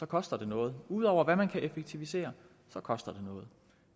koster det noget ud over hvad man kan effektivisere koster det noget